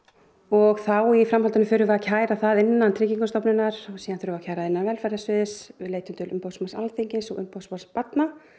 og þá í framhaldinu förum við að kæra það innan Tryggingastofnunar síðan þurfum við að kæra innan velferðarsviðs leitum til umboðsmanns Alþingis og umboðsmanns barna